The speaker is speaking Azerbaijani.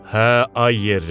Hə, ay yerlim.